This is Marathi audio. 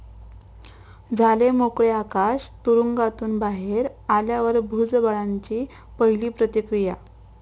झाले मोकळे आकाश, तुरुंगातून बाहेर आल्यावर भुजबळांची पहिली प्रतिक्रिया